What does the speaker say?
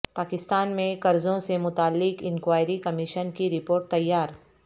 پاکستان میں قرضوں سے متعلق انکوائری کمیشن کی رپورٹ تیار